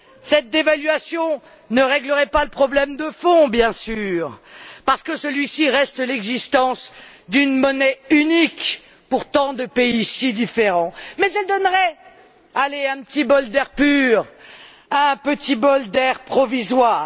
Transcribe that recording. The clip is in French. Cette dévaluation ne règlerait pas le problème de fond, bien sûr, parce que celui ci reste l'existence d'une monnaie unique, partagée pourtant par des pays si différents, mais elle donnerait, allez, un petit bol d'air pur, un petit bol d'air provisoire.